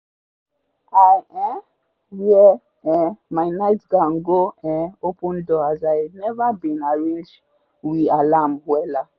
i um wear um my night gown go um open door as i neva been arrange we alarm wella